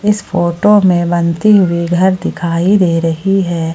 इस फोटो में बनती हुई घर दिखाई दे रही है।